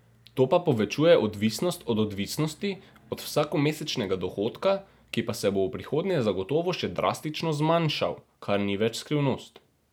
To pa povečuje odvisnost od odvisnosti, od vsakomesečnega dohodka, ki pa se bo v prihodnje zagotovo še drastično zmanjšal, kar ni več skrivnost.